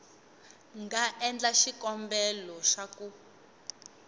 nga endla xikombelo xa ku